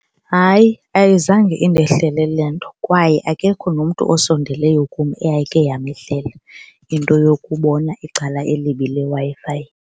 Hayi, ayizange indehlele le nto kwaye akekho nomntu osondeleyo kum eyayike yamehlela into yokubona icala elibi leWi-Fi.